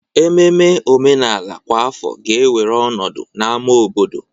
Ememe omenala kwa afọ ga-ewere ọnọdụ na ámá obodo.